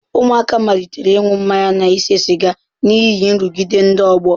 Ụmụaka malitere ịṅụ mmanya na ise siga n'ihi nrụgide ndị ọgbọ.